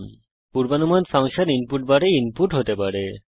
পূর্বঅনুমানিত function input বারের মধ্যে input হতে পারে